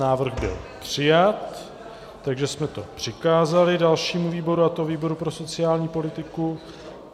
Návrh byl přijat, takže jsme to přikázali dalšímu výboru, a to výboru pro sociální politiku.